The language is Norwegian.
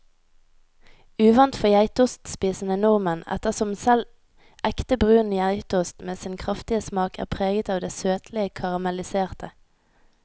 Uvant for geitostspisende nordmenn, ettersom selv ekte brun geitost med sin kraftige smak er preget av det søtlige karamelliserte.